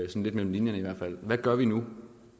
lidt mellem linjerne hvad gør vi nu